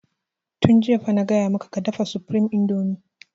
Tun jiya fa na gaya maka ka dafa supreme indomie!